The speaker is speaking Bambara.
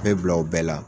Bɛɛ bila u bɛɛ la